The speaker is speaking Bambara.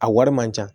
A wari man ca